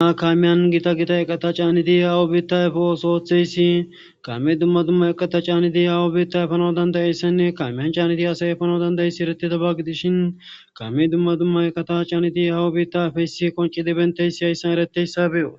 Dumma kamiyan gita gita eqata caanidi hawo biitta efoosooththeyssi kame dumma dumma eqata caanidi hawu biitta efano dandayeyssanne kamiyan caanidi asayefano dandayesi eretita ba gidishin kame dumma dumma eqata caanidi hawu biitta afeysi qonci dibenteysi hayssan ereteyssa be'os